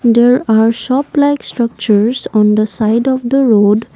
there are shop like structures on the side of the road.